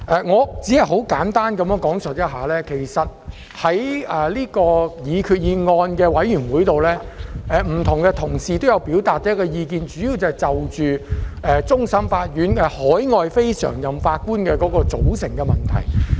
我只想簡單地提述，在有關擬議決議案的小組委員會中，各同事均表達了意見，主要是圍繞終審法院海外非常任法官的組成問題。